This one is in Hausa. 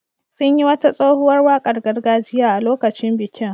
Sun yi wata tsohuwar wakar gargajiya a lokacin bikin.